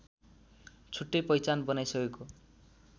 छुट्टै पहिचान बनाइसकेको